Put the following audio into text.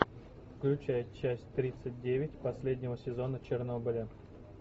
включай часть тридцать девять последнего сезона чернобыля